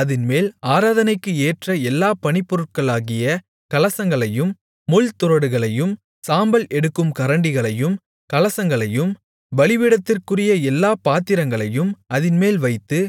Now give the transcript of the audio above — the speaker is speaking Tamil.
அதின்மேல் ஆராதனைக்கு ஏற்ற எல்லாப் பணிப்பொருட்களாகிய கலசங்களையும் முள்துறடுகளையும் சாம்பல் எடுக்கும் கரண்டிகளையும் கலசங்களையும் பலிபீடத்திற்குரிய எல்லாப் பாத்திரங்களையும் அதின்மேல் வைத்து